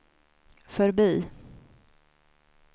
förbi